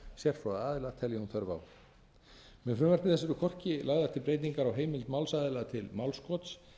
sérfróða aðila telji hún þörf á með frumvarpi þessu eru hvorki lagðar til heimildir málsaðila til málskots